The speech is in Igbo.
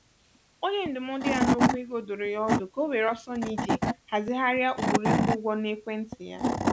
onye ndụmọdụ ya n'okwụ ego dụrụ ya ọdụ ka ọ were ọsọ na ije hazigharịa ụkpụrụ ịkwụ ụgwọ n'ekwentị ya.